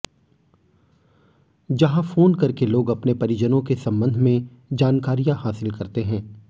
जहां फोन करके लोग अपने परिजनों के सम्बंध में जानकारियां हासिल करते हैं